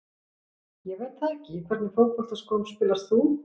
Ég veit það ekki Í hvernig fótboltaskóm spilar þú?